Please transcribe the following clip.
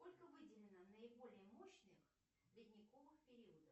сколько выделено наиболее мощных ледниковых периодов